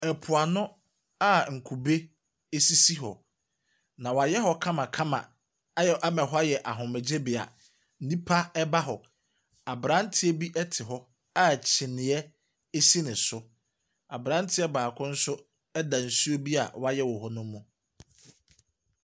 Mpoano a nkube sisi hɔ, na wɔayɛ kamakama ayɛ ama hɔ ayɛ ahomegyebea. Nnipa ba hɔ. Aberanteɛ bi te hɔ a kyineɛ si ne so. Aberanteɛ baako nso da nsuo bi a wɔayɛ wɔ hɔ ne mu.